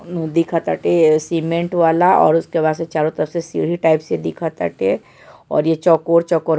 उनू दिखत आटे सीमेंट वाला और उसके वास्ते चारो तरफ से सीढ़ी टाइप दिखत आटे और ये चकोर-चकोर --